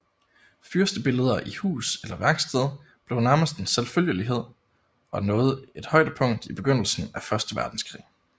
Fyrstebilleder i hus eller værksted blev nærmest en selvfølgelighed og nåede et højdepunkt i begyndelsen af første verdenskrig